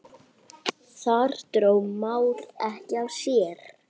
Þar dró Már ekki af sér.